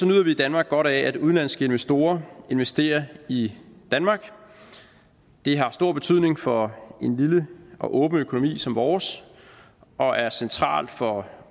nyder vi i danmark godt af at udenlandske investorer investerer i danmark det har stor betydning for en lille og åben økonomi som vores og er centralt for